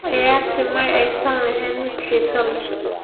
Ciyaartii ma aysan ahayn mid xiiso leh.